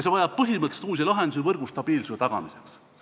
See vajab põhimõtteliselt uusi lahendusi võrgu stabiilsuse tagamiseks.